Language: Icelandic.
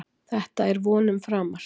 Þetta er vonum framar